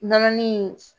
Nɔnɔnin in